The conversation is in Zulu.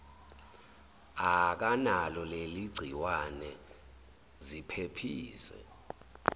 akanalo leligciwane ziphephise